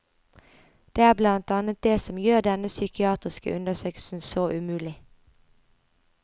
Det er blant annet det som gjør denne psykiatriske undersøkelsen så umulig.